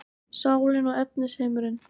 Sálin og efnisheimurinn